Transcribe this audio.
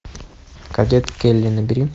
кадет келли набери